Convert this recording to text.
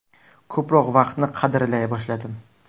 Ko‘proq vaqtni qadrlay boshladim.